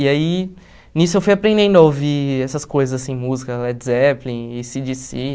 E aí, nisso eu fui aprendendo a ouvir essas coisas assim, música Led Zeppelin, êi cí díi cí.